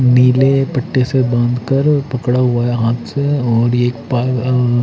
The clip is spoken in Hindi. नील पट्टे से बांधकर पकड़ा हुआ है हाथ से और एक पा अ--